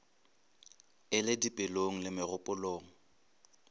e le dipelong le megopolong